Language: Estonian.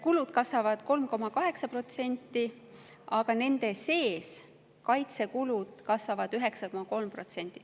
Kulud kasvavad 3,8%, aga nende sees kasvavad kaitsekulud 9,3%.